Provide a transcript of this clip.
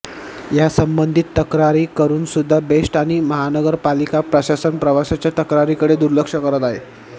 यासंबधीत तक्रारी करुनसुध्दा बेस्ट आणि महानगर पालिका प्रशासन प्रवांशाच्या तक्रारींकडे दुर्लक्ष करत आहे